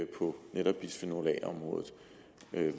på netop bisfenol a området